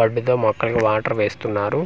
Bud తో మొక్కలకు water వేస్తున్నారు.